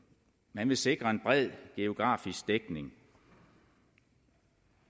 man vil sikre en bred geografisk dækning